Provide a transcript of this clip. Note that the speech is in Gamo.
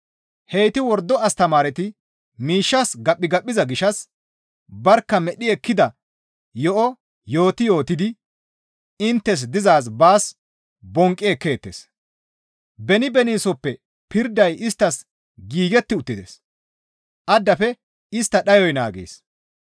Heyti wordo astamaareti miishshas gaphigaphiza gishshas barkka medhdhi ekkida yo7o yooti yootidi inttes dizaaz baas bonqqi ekkeettes; beni beniisoppe pirday isttas giigetti uttides; addafe istta dhayoy naagees.